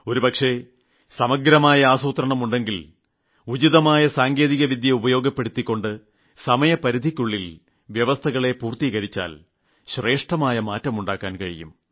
ഒരുപക്ഷേ സമഗ്രമായ ആസൂത്രണം ഉണ്ടെങ്കിൽ ഉചിതമായ സാങ്കേതികവിദ്യ ഉപയോഗപ്പെടുത്തിക്കൊണ്ട് സമയപരിധിക്കുള്ളിൽ വ്യവസ്ഥകൾ പൂർത്തീകരിച്ചാൽ ഗണ്യമായ മാറ്റം ഉണ്ടാക്കാൻ കഴിയും